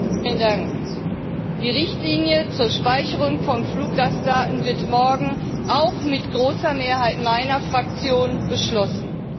Herr Präsident! Die Richtlinie zur Speicherung von Fluggastdaten wird morgen auch mit großer Mehrheit meiner Fraktion beschlossen.